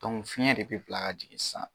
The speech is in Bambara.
fiɲɛ de bi bila ka jigin sisan.